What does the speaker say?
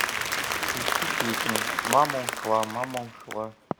включи песню мама ушла мама ушла